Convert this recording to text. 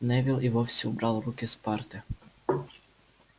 невилл и вовсе убрал руки с парты